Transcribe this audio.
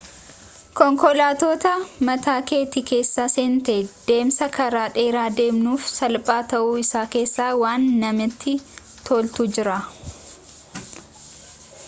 konkolaata mataa keetii keessa seentee deemsa karaa dheeraa deemuun salphaa ta'uu isaa keessa waan namatti tolutu jira